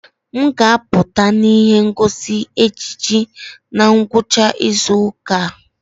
M ga-apụta na ihe ngosi ejiji na ngwụcha izu ụka a.